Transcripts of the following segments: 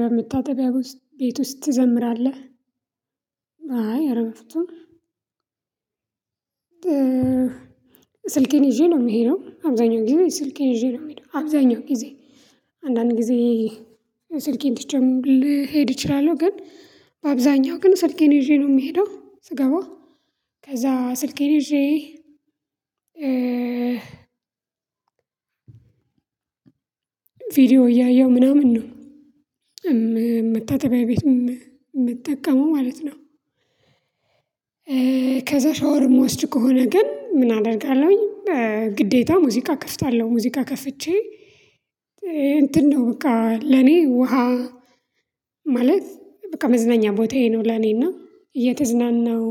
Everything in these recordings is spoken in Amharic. በምታጠቢያው ቤት ውስጥ ትዘምራለህ? አይ ኧረ በፍጹም። ስልኬን ይዤ ነው የምሄደው አብዛኛው ጊዜ ስልኬን ይዤ ነው የምሄደው አብዛኛው ጊዜ። አንዳንድ ጊዜ ስልኬን ትቼም ልሄድ እችላለሁ። ግን በአብዛኛው ግን ስልኬን ይዤ ነው የምሄደው። ስገባ ከዛ ስልኬን ይዤ ቪዲዮ እያየሁ ምናምን ነው። የምታጠቢያ ቤት የምትጠቀመው ማለት ነው። ከዛ ሻወር የምወስድ ከሆነ ግን ምን አደርጋለሁኝ? ግዴታ ሙዚቃ ከፍታለሁ ሙዚቃ ከፍቼ እንትን ነው በቃ ለኔ ውሃ ማለት በቃ መዝናኛ ቦታዬ ነው። ለኔና እየተዝናናሁ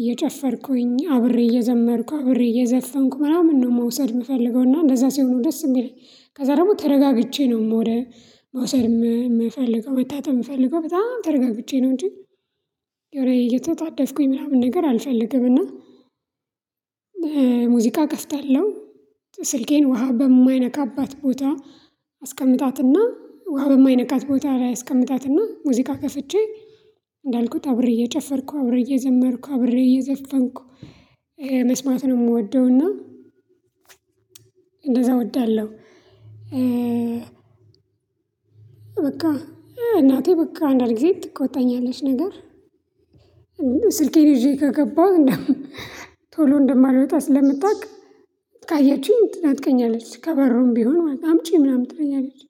እየጨፈርኩኝ አብሬ እየዘመርኩ አብሬ እየዘፈንኩ ምናምን ነው። መውሰድ የምፈልገው እና እንደዛ ሲሆን ደስ የሚለኝ ከዛ ደግሞ ተረጋግቼ ነው። ወደ መውሰድ የምፈልገው መታጠብ የምፈልገው በጣም ተርጋግቼ ነው። እንጂ የሆነ እየተጣደፍኩኝ ምናምን ነገር አልፈልግም። እና ሙዚቃ እከፍታለሁ ስልኬን ውሃ በማይነካባት ቦታ። አስቀምጣትና ውሃ በማይነካት ቦታ ላይ አስቀምጣትና ሙዚቃ ከፍቼ እንዳልኩት አብሬ እየጨፈርኩ አብሬ እየዘመርኩ አብሬ እየዘፈንኩ መስማት ነው የምወደውና እንደዛ እወዳለሁ። በቃ እናቴ በቃ አንዳንድ ጊዜ ትቆጣኛለች ነገር ስልኬን ይዤ ከገባሁ ቶሎ እንደማልወጣ ስለምታውቅ ካየችኝ ትነጥቀኛለች ከበርም ቢሆን አምጪ ምናምን ትለኛለች።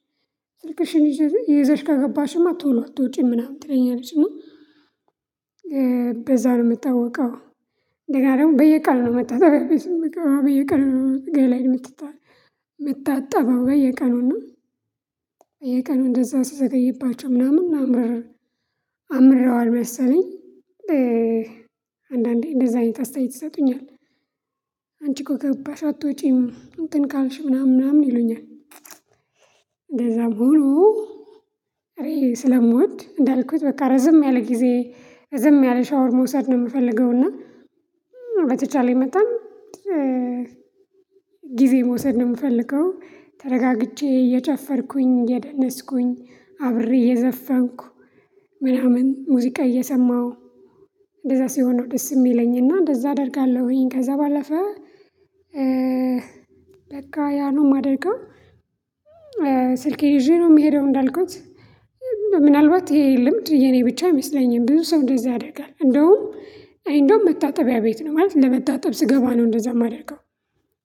ስልክሽን ይዘሽ ይዘሽ ከገባሽማ ቶሎ አትወጪም ምናምን ትለኛለች። እና በዛ ነው የምታወቀው። ከዚያ ደግሞ በየቀኑ ነው መታጠቢያ ቤት የምገባው በየቀኑ ነው ገላዬን የምታጣበው። በየቀኑ እና በየቀኑ እንደዛ ስዘገይባቸው ምናምን ምናምን አምረዋል መሰለኝ። አንዳንዴ እንደዛ አይነት አስተያየት ይሰጡኛል። አንቺ እኮ ከገባሽ አትወጪም እንትን ካልሽ ምናምን ምናምን ይሉኛል። እንደዛ ቡሉ እኔ ስለምወድ እንዳልኩት በቃ ረዘም ያለ ጊዜ ዝም ያለ ሻወር መውሰድ ነው የምፈልገው። እና በተቻለኝ መጠን ጊዜ መውሰድ ነው የምፈልገው። ተረጋግቼ እየጨፈርኩኝ እየደነስኩኝ አብሬ እየዘፈንኩ ምናምን ሙዚቃ እየሰማሁ እንደዛ ሲሆን ነው ደስ የሚለኝና እንደዛ አደርጋለሁኝ። ከዛ ባለፈ በቃ ያኑ ማደርገው። ስልኬ ይዤ ነው የምሄደው እንዳልኩት ምናልባት ይሄ ልምድ የኔ ብቻ አይመስለኝም ብዙ ሰው እንደዛ ያደርጋል። እንደውም እንደውም መታጠቢያ ቤት ነው ማለት ለመታጠብ ስገባ ነው እንደዛ የማደርገው።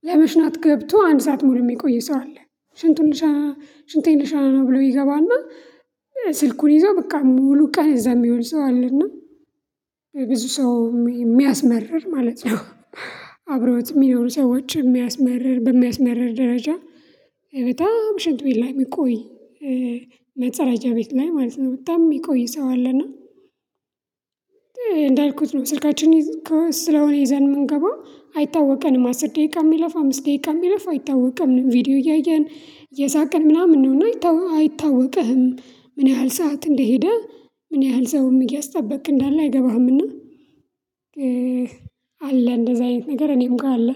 ለመሽናት ገብቶ አንድ ሰዓት መሆን የሚቆይ ሰው አለ። ሽንቱን ሽንቴን ልሸና ብሎ ይገባና ስልኩን ይዞ በቃ ሙሉ ቀን እዛ የሚሆን ሰው አለና። ብዙ ሰው የሚያስመርር ማለት ነው። አብረውት የሚለውን ሰዎች የሚያስመርር በሚያስመርር ደረጃ በጣም ሽንት ላይ የሚቆይ መጠራጃ ቤት ላይ ማለት ነው በጣም የሚቆይ ሰው አለና። እንዳልኩት ነው ስልካችን ይዘን የምንገባው አይታወቀንም አስር ደቂቃ የሚለፋ አምስት ደቂቃ የሚለፍ አይታወቅም። ቪዲዮ እያየን እየሳቀን ምናምን ነው አይታወቅህም ምን ያህል ሰዓት እንደሄደ ምን ያህል ሰውም እያስጠበቅክ እንዳለ አይገባህምና። አለ እንደዚህ አይነት ነገር እኔም ጋር አለ።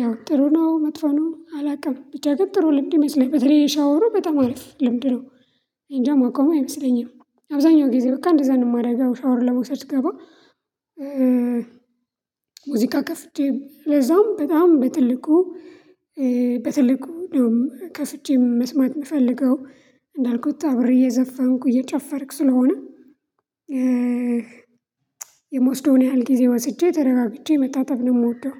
ያው ጥሩ ነው መጥፎ ነው አላውቅም ብቻ ግን ጥሩ ልምድ ይመስለኛል በተለይ የሻወሩ በጣም አሪፍ ልምድ ነው። እኔንጃ ማቆም አይመስለኝም አብዛኛው ጊዜ በቃ እንደዛ ነው እንስራ ሻወር ለመውሰድ ገባ። ሙዚቃ ከፍዬቼ ለዛውም በጣም በትልቁ በትልቁ እንደውም ከፍቼም መስማት የምፈልገው እንዳልኩት አብሬ እየዘፈንኩ እየጨፈርኩ ስለሆነ። የምወስደውን ያህል ጊዜ ወስጄ ተረጋግቼ መታጠብ ነው የምወደው።